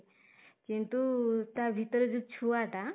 କିନ୍ତୁ ତା ଭିତରେ ଯୋଉ ଛୁଆ ଟା